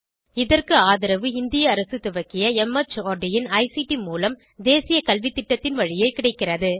இதற்கு ஆதரவு இந்திய அரசு துவக்கிய மார்ட் இன் ஐசிடி மூலம் தேசிய கல்வித்திட்டத்தின் வழியே கிடைக்கிறது